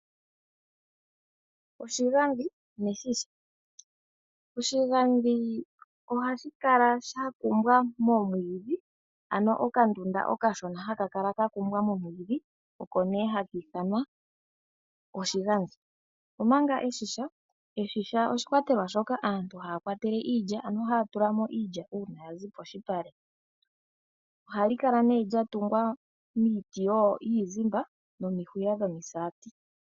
Okahaka neshisha Okahaka oha ka kala ka kumbwa momwiidhi, ano okandunda okashona haka kala ka kumbwa nomwiidhi. Eshisha nenge oshigandhi oshikwatelwa shoka aantu haya kwatele iilya, ano haya tula mo iilya uuna ya zi polupale. Ohali kala nduno lya tungwa miiti yiizimba nomihuya dhomisati.